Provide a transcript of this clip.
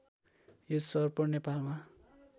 यो सर्प नेपालमा